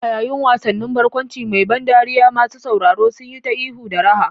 A yayin wasan barkwanci mai ban dariya, masu sauraro sun yi ta ihu da raha.